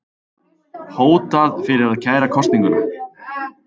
Hótað fyrir að kæra kosninguna